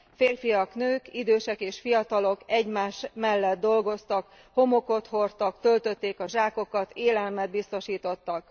Férfiak, nők, idősek és fiatalok egymás mellett dolgoztak, homokot hordtak, töltötték a zsákokat, élelmet biztosítottak.